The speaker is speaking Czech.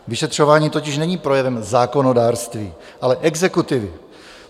Vyšetřování totiž není projevem zákonodárství, ale exekutivy.